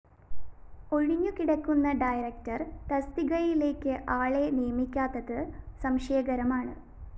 ഒഴിഞ്ഞുകിടക്കുന്ന director തസ്തികയിലേക്ക്‌ ആളെ നിയമിക്കാത്തത്‌ സംശയകരമാണ്‌